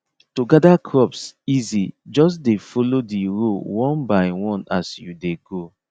to gather crops easy just dey follow the row one by one as you dey go